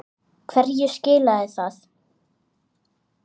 Hverju skilaði það?